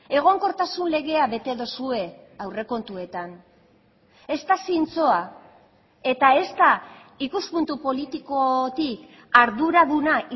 egonkortasun legea bete duzue aurrekontuetan ez da zintzoa eta ez da ikuspuntu politikotik arduraduna